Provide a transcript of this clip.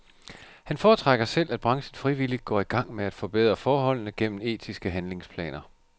Han foretrækker selv, at branchen frivilligt går i gang med at forbedre forholdene gennem etiske handlingsplaner.